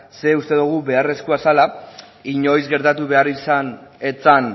ze uste dugu beharrezkoa zela inoiz gertatu behar izan ez zen